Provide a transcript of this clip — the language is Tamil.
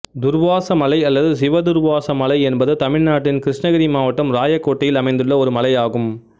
துர்வாச மலை அல்லது சிவதுர்வாச மலை என்பது தமிழ்நாட்டின் கிருஷ்ணகிரி மாவட்டம் இராயக்கோட்டையில் அமைந்துள்ள ஒரு மலையாகும்